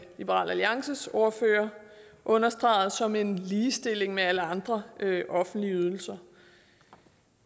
liberal alliances ordfører understregede som en ligestilling med alle andre offentlige ydelser